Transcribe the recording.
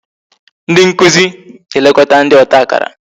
Ndị nkụzi na-elekọta ndị ọta akara